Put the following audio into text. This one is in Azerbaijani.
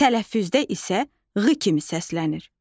Tələffüzdə isə ğ kimi səslənir.